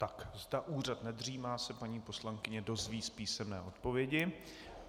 Tak, zda úřad nedřímá, se paní poslankyně dozví z písemné odpovědi.